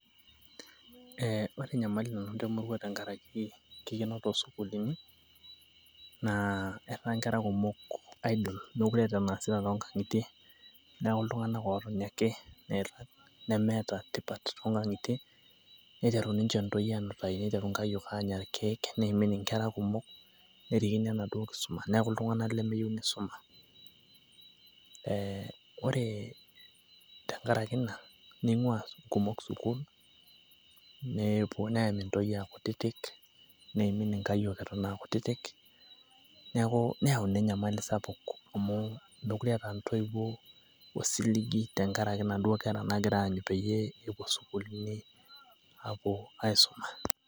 ore enymali nanoto emurua tenkaraaki enkikenoto oosukuulini, etaa nkera emurua idle meekure eeta enaasita too nkang'itie. neeku iltung'anak ootoni ake, nemeeta tipat too nkang'itie. niteru ntoyie aanutaai. nenya nkayiok irkeek. neimin inkera kumok. nerikino enaduoo kisuma neeku itunganak lemeyiolo enkisuma.ee ore tenkaraki ina neyami ntoyie aa kutitik, neimin inkayiok aa kutitik. neyau ina enymali sapuk. neeku meekure eeta intoiwuo osiligi tenkaraki inaaduo kera epuo sukuulini aisuma.